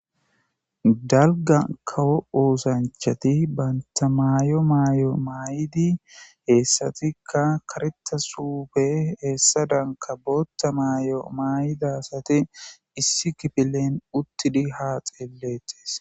dalga kawo oosanchati banta maayo maayo maay'idi heessatikka kareta suufe heessa danka bootta maayo maayidasati issi kifilen uttidi haa xeelettes